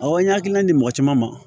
Awɔ n hakilina di mɔgɔ caman ma